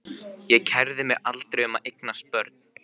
Ég kærði mig aldrei um að eignast börn.